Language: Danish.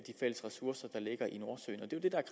fælles ressourcer der ligger i nordsøen